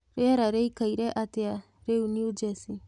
rĩera rĩĩkaĩre atĩa rĩu new Jersey